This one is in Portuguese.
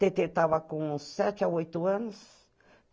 Tetê estava com sete a oito anos.